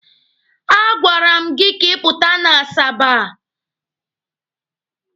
A gwara m gị ka ị pụta n'Asaba!